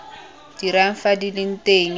dirang fa di le teng